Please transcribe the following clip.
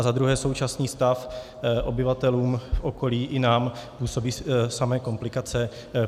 A za druhé, současný stav obyvatelům v okolí i nám působí samé komplikace.